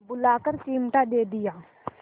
बुलाकर चिमटा दे दिया